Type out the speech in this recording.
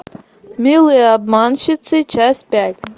милые обманщицы часть пять